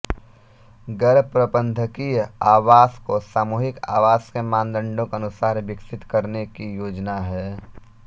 गैरप्रबंधकीय आवास को सामूहिक आवास के मानदंडों के अनुसार विकसित करने की योजना है